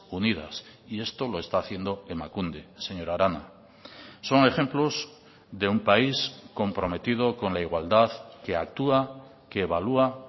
unidas y esto lo está haciendo emakunde señora arana son ejemplos de un país comprometido con la igualdad que actúa que evalúa